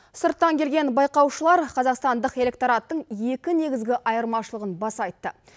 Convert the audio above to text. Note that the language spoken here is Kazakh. сырттан келген байқаушылар қазақстандық электораттың екі негізгі айырмашылығын баса айтты